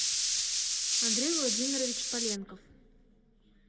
андрей владимирович поленков